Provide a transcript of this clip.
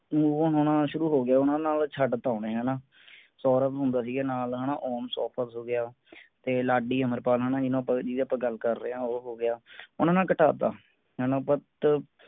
move on ਹੋਣਾ ਸ਼ੁਰੂ ਹੋ ਗਿਆ ਓਹਨਾ ਨਾਲ ਛੱਡਤਾ ਓਹਨੇ ਹੈਨਾ। ਸੌਰਵ ਹੁੰਦਾ ਸੀ ਨਾਲ ਹਾਣਾ ਹੋਗਿਆ ਤੇ ਲਾਡੀ, ਅਮਰਪਾਲ ਇਹਨੂੰ ਆਪਾਂ ਜਿਦੀ ਆਪਾਂ ਗੱਲ ਕਰ ਰਹੇ ਹਾਂ ਉਹ ਹੋ ਗਿਆ ਓਹਨਾ ਨਾਲ ਘਟਾ ਤਾ ਹੈਨਾ BUT